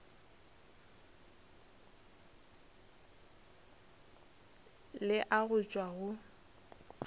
le a go tšwa go